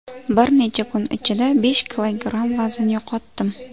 Bir necha kun ichida besh kilogramm vazn yo‘qotdim.